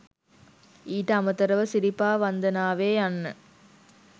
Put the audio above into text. ඊට අමතරව සිරිපා වන්දනාවේ යන්න